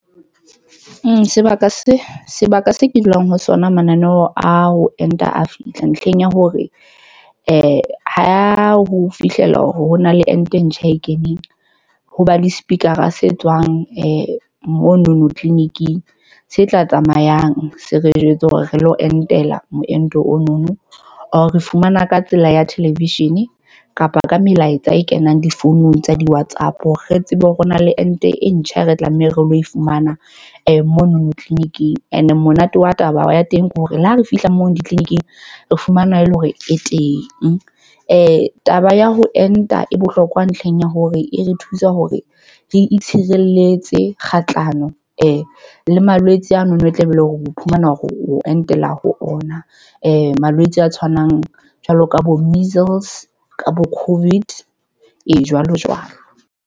Sebaka seo ke dulang ho sona mananeo a ho enta a fihla ntlheng ya hore ho fihlela hona le ente e ntjha e keneng ho ba le Speaker a se tswang m. Mono no tleliniking se tla tsamayang se re jwetse hore re lo entela meento ono, Or re fumana ka tsela ya television kapa ka melaetsa e kenang difounung tsa di-WhatsApp. Re tsebe hore ho na le ente e ntjha re tlameha re lo fumana mono no tleliniking and monate wa taba ya teng ke hore le ha re fihla moo ditleliniking re fumana e le hore e teng. Taba ya ho enta e bohlokwa ntlheng ya hore e re thusa hore re itshireletse kgahlano e le malwetse ano no e tlabe ele hore o iphumana hore o entela ho ona. Malwetse a tshwanang jwalo ka bo measles ka bo Covid, e jwalo jwalo.